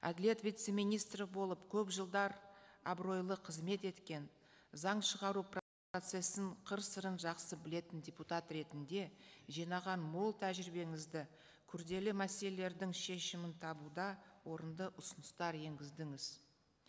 әділет вице министрі болып көп жылдар абыройлы қызмет еткен заң шығару қыр сырын жақсы білетін депутат ретінде жинаған мол тәжірибеңізді күрделі мәселелердің шешімін табуда орынды ұсыныстар енгіздіңіз